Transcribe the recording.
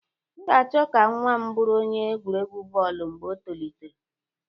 M ga-achọ ka nwa m bụrụ onye egwuregwu bọọlụ mgbe o tolitere